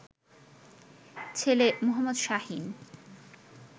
ছেলে মো. শাহীন